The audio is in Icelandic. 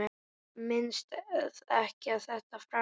Minnist ekki á þetta framar.